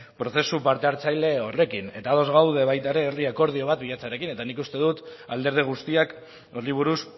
prozesu parte hartzaile horrekin eta ados gaude baita ere herri akordio bat bilatzearekin eta nik uste alderdi guztiak horri buruz